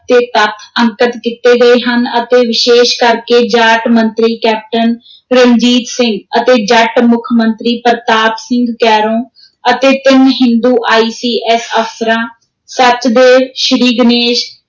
ਤੇ ਤੱਥ ਅੰਕਤ ਕੀਤੇ ਗਏ ਹਨ ਅਤੇ ਵਿਸ਼ੇਸ਼ ਕਰਕੇ ਜਾਟ ਮੰਤਰੀ ਕੈਪਟਨ ਰਣਜੀਤ ਸਿੰਘ ਅਤੇ ਜੱਟ ਮੁੱਖ ਮੰਤਰੀ ਪ੍ਰਤਾਪ ਸਿੰਘ ਕੈਰੋਂ ਅਤੇ ਤਿੰਨ ਹਿੰਦੂ ICS ਅਫ਼ਸਰਾਂ, ਸਚਦੇਵ, ਸ੍ਰੀਨਗੋਸ਼,